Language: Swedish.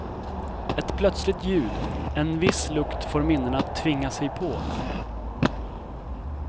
Ett plötsligt ljud, en viss lukt får minnena att tvinga sig på.